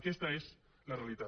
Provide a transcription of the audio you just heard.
aquesta és la realitat